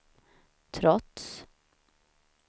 trots